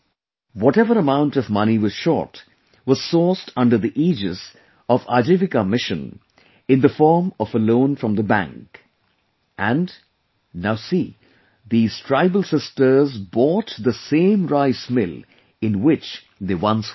Whatever amount of money was short, was sourced under the aegis of Ajivika mission in the form of a loan from the bank, and, now see, these tribal sisters bought the same rice mill in which they once worked